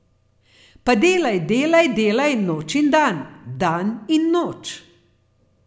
Pa delaj, delaj, delaj noč in dan, dan in noč.